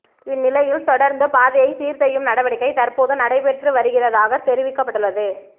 இந்நிலயில் தொடருந்துப் பதையைச் சீர் செய்யும் நடவடிக்கை தற்போது நடைபெற்று வருகிறதாக தெரிவிக்கப்படுள்ளது